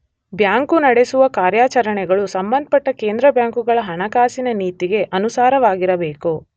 Bank ನಡೆಸುವ ಕಾರ್ಯಾಚರಣೆಗಳು ಸಂಬಂಧಪಟ್ಟ ಕೇಂದ್ರಬ್ಯಾಂಕುಗಳ ಹಣಕಾಸಿನ ನೀತಿಗೆ ಅನುಸಾರವಾಗಿರಬೇಕು.